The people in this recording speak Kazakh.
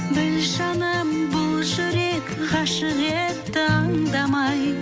біл жаным бұл жүрек ғашық етті аңдамай